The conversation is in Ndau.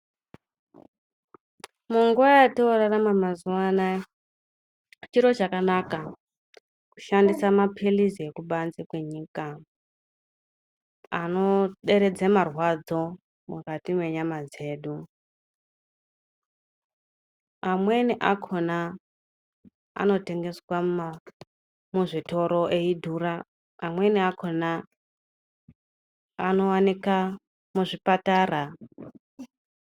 Munguwa yotorarama mazuwa anaya chiro chakanaka kushandisa maphilizi ekubanze kwenyika anoderedza marwadzo mukati mwenyama dzedu. Amweni akhona anotengeswa muzvitoro eidhura amweni akhona anowanika muzvipatara.